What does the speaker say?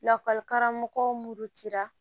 Lakɔlikaramɔgɔ cira